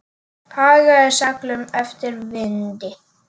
Hagaði seglum eftir vindi.